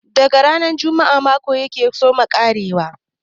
Daga kan ranar Juma'a mako ya ke soma ƙarewa.